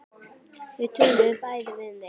Þau töluðu bæði við mig.